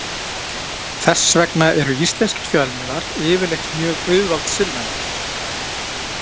Þess vegna eru íslenskir fjölmiðlar yfirleitt mjög auðvaldssinnaðir.